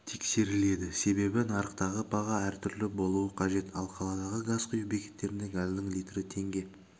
тексеріледі себебі нарықтағы баға әртүрлі болуы қажет ал қаладағы газ құю бекеттерінде газдың литрі теңге